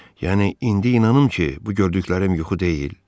Yəni indi inanım ki, bu gördüklərim yuxu deyil?